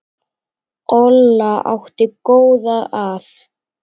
Olla átti góða að.